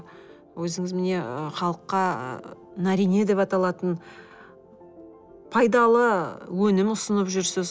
өзіңіз міне халыққа нарине деп аталатын пайдалы өнім ұсынып жүрсіз